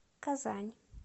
казань